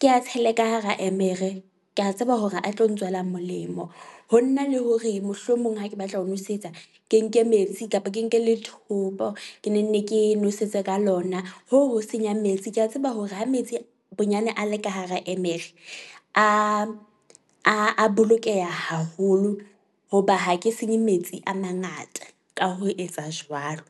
Ke a tshele ka hara emere, ke a tseba hore a tlo ntswela molemo. Ho nna le hore mohlomong ha ke batla ho nwesetsa ke nke metsi kapa ke nke lethombo, ke ne nne ke nwesetse ka lona. Hoo ho senya metsi, ke a tseba hore ha metsi bonyane a le ka hara emere a a bolokeha haholo hoba ha ke senye metsi a mangata ka ho etsa jwalo.